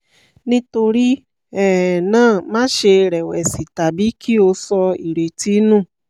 nítorí um náà máṣe rẹ̀wẹ̀sì tàbí kí o sọ̀ irètí nù